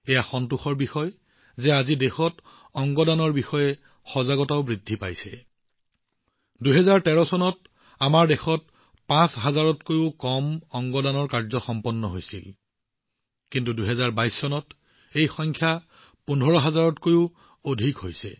এইটো সন্তোষজনক কথা যে আজি দেশত অংগ দান সম্পৰ্কে সজাগতাবৃদ্ধি পাইছে ২০১৩ চনত আমাৰ দেশত অংগ দানৰ পাঁচ হাজাৰৰো কম পঞ্জীয়ন আছিল কিন্তু ২০২২ চনত এই সংখ্যা পোন্ধৰ হাজাৰতকৈও অধিকলৈ বৃদ্ধি হৈছে